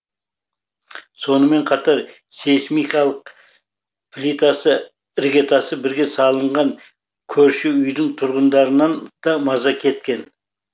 сонымен қатар сейсмикалық плитасы іргетасы бірге салынған көрші үйдің тұрғындарынан да маза кеткен